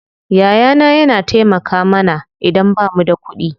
Yaya na yana taimaka mana idan bamu da kuɗi.